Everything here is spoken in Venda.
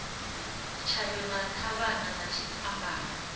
tshayo na ṱhavhana na tshipambala